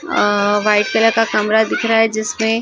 white colour का कमरा दिख रहा है जिसमें--